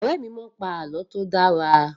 Ọ̀rẹ́ mi a máa pa àlọ́ tí ó dára